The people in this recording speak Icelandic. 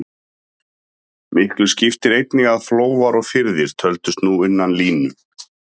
Miklu skipti einnig að flóar og firðir töldust nú innan línu.